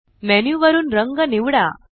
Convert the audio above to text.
menu वरुन रंग निवडा